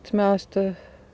með aðstoð